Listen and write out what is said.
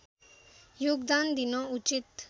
योगदान दिन उचित